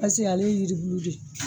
Paseke ale ye yiribulu de ye.